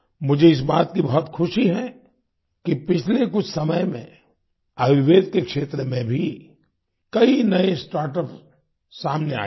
मुझे इस बात की बहुत खुशी है कि पिछले कुछ समय में आयुर्वेद के क्षेत्र में भी कई नए स्टार्टअप सामने आए हैं